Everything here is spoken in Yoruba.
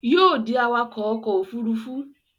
Yóò ó dí awakọ̀ ọkọ̀ òfurufú